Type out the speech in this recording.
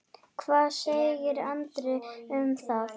Hvað segir Andri um það?